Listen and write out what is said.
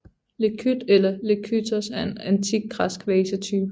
Lekyth eller lekythos er en antik græsk vasetype